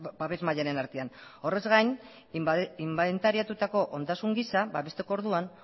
babes mailaren artean horrez gain inbentariatutako ondasun gisa babesteko orduan